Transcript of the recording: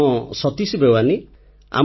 ମୋ ନାମ ସତୀଶ ବେୱାନୀ